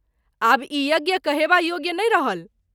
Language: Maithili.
आब ई यज्ञ कहेबा योग्य नहिं रहल।